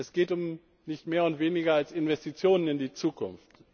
Es geht um nicht mehr und nicht weniger als Investitionen in die Zukunft.